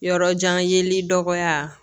Yɔrɔ jan yeli dɔgɔya